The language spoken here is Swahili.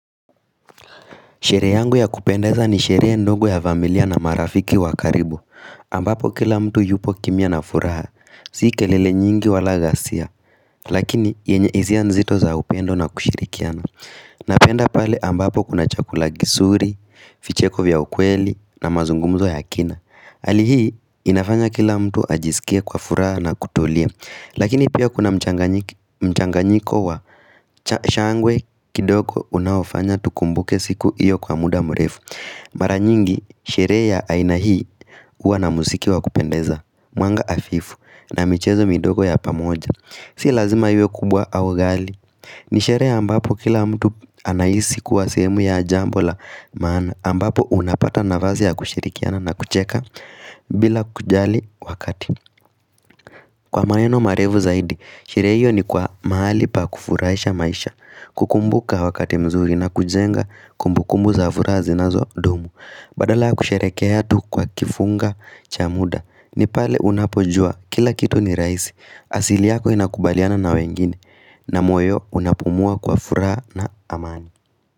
Sheree yangu ya kupendeza ni sheree ndogo ya familia na marafiki wakaribu ambapo kila mtu yupo kimia na furaha sikelele nyingi wala gasia Lakini yenye izia nzito za upendo na kushirikiana Napenda pale ambapo kuna chakula gisuri, ficheko vya ukweli na mazungumzo ya kina Alihi, inafanya kila mtu ajisikia kwa furaha na kutolia Lakini pia kuna mchanganyiko wa shangwe kidoko unaofanya tukumbuke siku iyo kwa muda mrefu. Maranyingi sheree ya ainahii uwa na musiki wa kupendeza. Mwanga afifu. Na michezo midogo ya pamoja. Si lazima yue kubwa awagali. Ni sheree ambapo kila mtu anaisi kuwa semu ya ajambola maana. Ambapo unapata navazi ya kushirikiana na kucheka bila kujali wakati. Kwa maeno marefu zaidi. Sheree hiyo ni kwa maali pa kufurahisha maisha. Kukumbuka wakati mzuri na kujenga Kumbu kumbu za fura zinazo dumu Badala kusherekea tu kwa kifunga chamuda ni pale unapojua kila kitu ni raisi asili yako inakubaliana na wengine na moyo unapumua kwa furaa na amani.